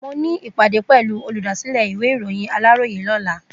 Mo ní ìpàdé pẹ̀lú olùdásílẹ̀ ìwé ìròyìn Aláròyé lọ́la.